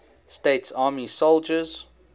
states army soldiers